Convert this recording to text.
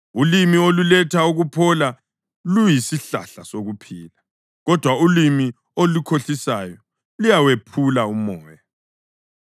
Ulimi oluletha ukuphola luyisihlahla sokuphila, kodwa ulimi olukhohlisayo luyawephula umoya.